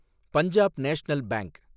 Punjab national bank